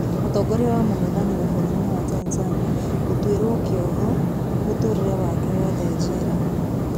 Mũtongoria wa mũng'ethanĩro bũrũrinĩ wa Tanzania gũtwiro kĩoho mũtũrĩre wake wothe njera.